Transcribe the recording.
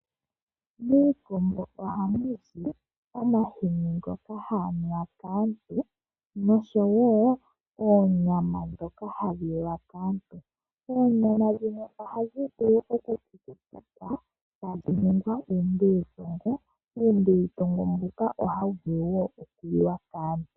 Miikombo oha muzi omahini ngono haga li wa kaantu noshowo oonyama dhoka hadhi li wa kaantu, oonyama dhino ohadhi vulu oku kukutikwa tadhi ningwa uumbilitongo mbuka ohawu vulu wo oku li wa kaantu.